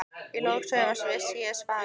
Í lok sumars vissi ég svarið.